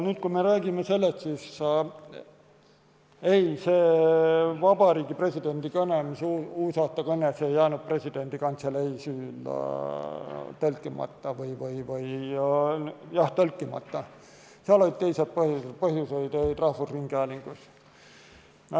Kui me räägime sellest intsidendist, siis ei, presidendi uusaastakõne ei jäänud presidendi kantselei süül tõlkimata, seal olid teised põhjused, põhjused olid rahvusringhäälingus.